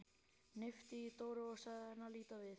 Hnippti í Dóru og sagði henni að líta við.